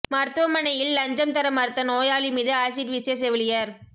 மருத்துவமனையில் லஞ்சம் தர மறுத்த நோயாளி மீது ஆசிட் வீசிய செவிலியர்